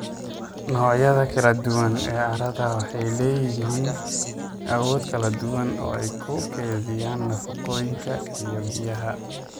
Noocyada kala duwan ee carrada waxay leeyihiin awoodo kala duwan oo ay ku kaydiyaan nafaqooyinka iyo biyaha.